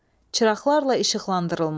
Çıraqlarla işıqlandırılmış.